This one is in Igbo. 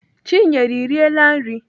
Chinyere, I riela nri?